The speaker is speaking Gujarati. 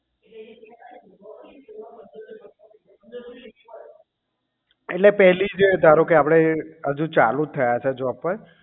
એટલે પહેલી જે એટલે ધારો કે આપણે હજુ ચાલુ જ થયા છે જોબ ઉપર